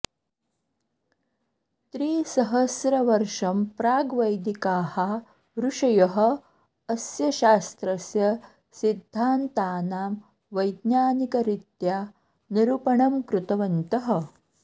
त्रिसहस्रवर्षं प्राग् वैदिकाः ऋषयः अस्य शास्त्रस्य सिद्धान्तानां वैज्ञानिकरीत्या निरूपणं कृतवन्तः